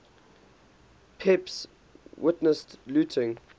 pepys witnessed looting